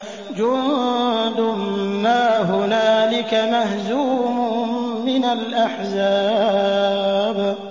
جُندٌ مَّا هُنَالِكَ مَهْزُومٌ مِّنَ الْأَحْزَابِ